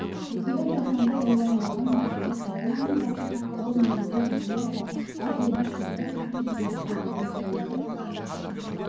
осындай жаһанды ойландырған мәселе картинаның басты тақырыбы негізгі идеясы әр жерде шөптер өскен кейбірі жерлерде түйелер